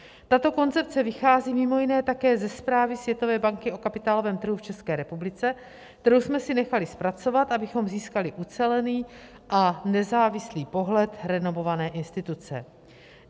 Tato koncepce vychází mimo jiné také ze zprávy Světové banky o kapitálovém trhu v České republice, kterou jsme si nechali zpracovat, abychom získali ucelený a nezávislý pohled renomované instituce.